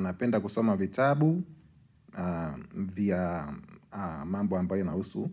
Napenda kusoma vitabu vya mambo ambayo inausu